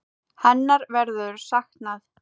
Hennar verður saknað.